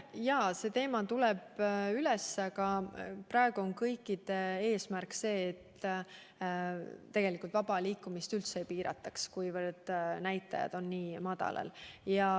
Jaa, see teema on tulnud üles, aga praegu on kõikide eesmärk see, et vaba liikumist üldse ei piirataks, kuna näitajad on nii madalal.